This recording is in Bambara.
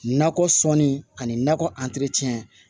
Nakɔ sɔnni ani nakɔ